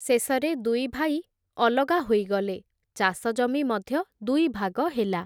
ଶେଷରେ ଦୁଇ ଭାଇ, ଅଲଗା ହୋଇଗଲେ, ଚାଷଜମି ମଧ୍ୟ ଦୁଇଭାଗ ହେଲା ।